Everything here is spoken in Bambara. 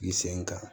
I sen kan